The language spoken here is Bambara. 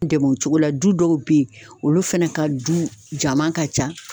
Dɛmɛ o cogo la du dɔw be yen olu fɛnɛ ka du jaman ka ca